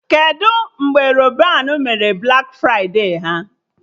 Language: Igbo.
Kedụ mgbe Rọban mere Blak fride ha?